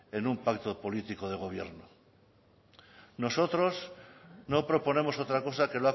en un pacto político de gobierno nosotros no proponemos otra cosa que